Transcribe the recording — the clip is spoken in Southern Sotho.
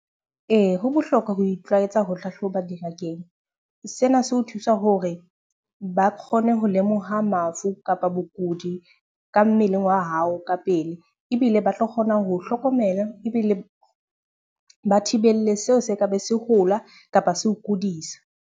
Ee, ho bohlokwa ho itlwaetsa ho hlahloba dingakeng. Sena se ho thusa hore ba kgone ho lemoha mafu kapa bokudi ka mmeleng wa hao ka pele. Ebile ba tlo kgona ho o, hlokomela ebile ba thibelle seo se ka be se hola kapa se o kudisa.